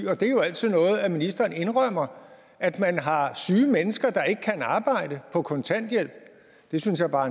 og det er jo altid noget at ministeren indrømmer at man har syge mennesker der ikke kan arbejde på kontanthjælp det synes jeg bare